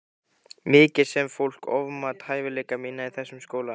Mikið sem fólk ofmat hæfileika mína í þessum skóla.